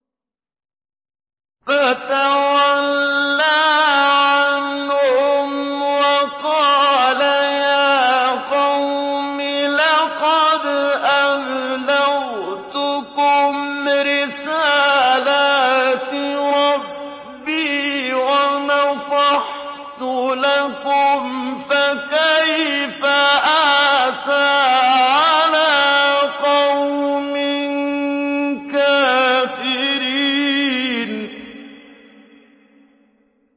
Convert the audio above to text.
فَتَوَلَّىٰ عَنْهُمْ وَقَالَ يَا قَوْمِ لَقَدْ أَبْلَغْتُكُمْ رِسَالَاتِ رَبِّي وَنَصَحْتُ لَكُمْ ۖ فَكَيْفَ آسَىٰ عَلَىٰ قَوْمٍ كَافِرِينَ